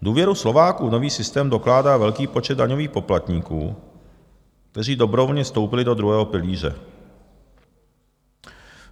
Důvěru Slováků v nový systém dokládá velký počet daňových poplatníků, kteří dobrovolně vstoupili do druhého pilíře.